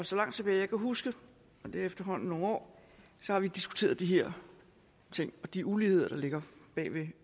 så langt tilbage jeg kan huske og det er efterhånden nogle år har vi diskuteret de her ting og de uligheder der ligger bag ved